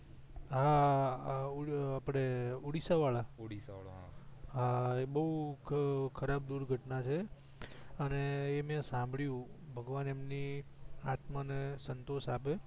હા ઑડિસ્સા વાળા હા એ બહુ ખરાબ દુર્ઘટના છે અને એ મેં સાભળ્યું ભગવાન એમની આત્માને સંતોષ આપે